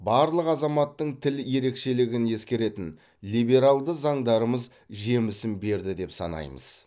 барлық азаматтың тіл ерекшелігін ескеретін либералды заңдарымыз жемісін берді деп санаймыз